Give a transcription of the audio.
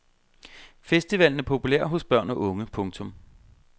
Festivalen er populær hos børn og unge. punktum